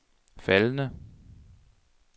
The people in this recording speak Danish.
faldende